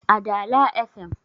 a Dala fm